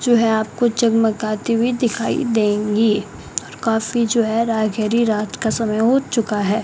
जो है आपको जगमगाती हुई दिखाई देंगी और काफी जो है रायखेड़ी रात का समय हो चुका है।